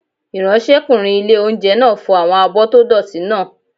Ìráńṣẹ́kùnrin ilé-oúnjẹ náà fọ àwọn abọ́ tó dọ̀ọ̀tí náà